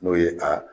N'o ye a